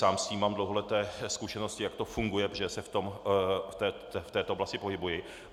Sám s tím mám dlouholeté zkušenosti, jak to funguje, protože se v této oblasti pohybuji.